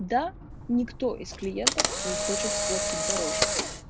да никто из клиентов не хочет платить дороже